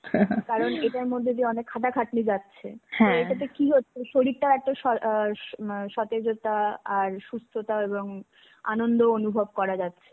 কারণ, এটার মধ্যে যে অনেক খাটা খাটুনি যাচ্ছে. এটাতে কি হচ্ছে শরীরটা এত স~ সতেজতা আর সুস্থতা এবং আনন্দও অনুভব করা যাচ্ছে.